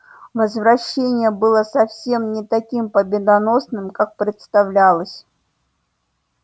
возвращение было совсем не таким победоносным как представлялось